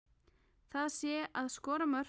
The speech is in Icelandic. Það sé að skora mörk.